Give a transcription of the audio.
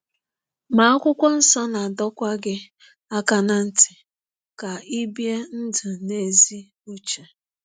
Ma Akwụkwọ Nsọ na-adọkwa gị aka ná ntị ka i bie ndụ n’ezi uche.